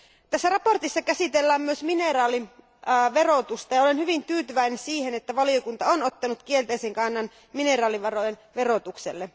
Tässä mietinnössä käsitellään myös mineraaliverotusta, ja olen hyvin tyytyväinen siihen, että valiokunta on ottanut kielteisen kannan mineraalivarojen verotukseen.